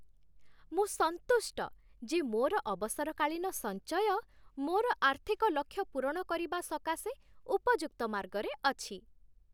ମୁଁ ସନ୍ତୁଷ୍ଟ ଯେ ମୋର ଅବସରକାଳୀନ ସଞ୍ଚୟ ମୋର ଆର୍ଥିକ ଲକ୍ଷ୍ୟ ପୂରଣ କରିବା ସକାଶେ ଉପଯୁକ୍ତ ମାର୍ଗରେ ଅଛି।